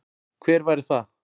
Hver væri það?